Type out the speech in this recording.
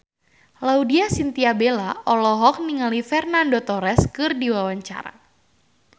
Laudya Chintya Bella olohok ningali Fernando Torres keur diwawancara